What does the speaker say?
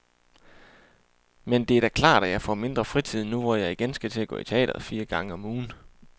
Men det er da klart, at jeg får mindre fritid nu, hvor jeg igen skal til at gå i teatret fire gange om ugen.